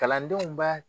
Kalandenw b'a